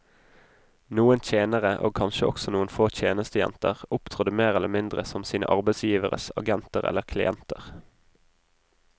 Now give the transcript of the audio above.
Noen tjenere, og kanskje også noen få tjenestejenter, opptrådte mer eller mindre som sine arbeidsgiveres agenter eller klienter.